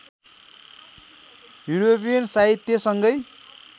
European साहित्यसँगै